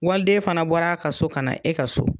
Waliden fana bɔra ka so ka na e ka so